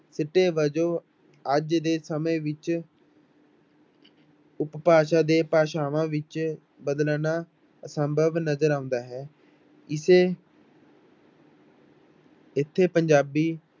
ਸਿੱਟੇ ਵਜੋਂ ਅੱਜ ਦੇ ਸਮੇਂ ਵਿੱਚ ਉਪਭਾਸ਼ਾ ਦੇ ਭਾਸ਼ਾਵਾਂ ਵਿੱਚ ਬਦਲਣਾ ਅਸੰਭਵ ਨਜ਼ਰ ਆਉਂਦਾ ਹੈ, ਇਸੇ ਇੱਥੇ ਪੰਜਾਬੀ